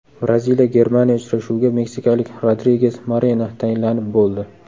Braziliya – Germaniya uchrashuviga meksikalik Rodriges Moreno tayinlanib bo‘ldi.